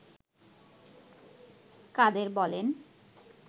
কাদের বলেন